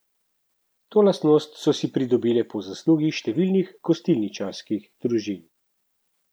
To lastnost so si pridobile po zaslugi številnih gostilničarskih družin.